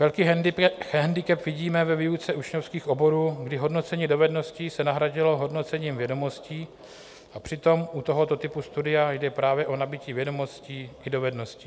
Velký handicap vidíme ve výuce učňovských oborů, kdy hodnocení dovedností se nahradilo hodnocením vědomostí, a přitom u tohoto typu studia jde právě o nabytí vědomostí i dovedností.